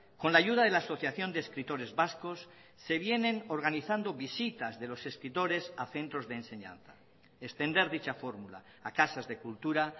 con la ayuda de la asociación de escritores vascos se vienen organizando visitas de los escritores a centros de enseñanza extender dicha fórmula a casas de cultura